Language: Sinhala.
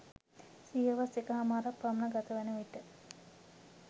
සියවස් එකහමාරක් පමණ ගතවන විට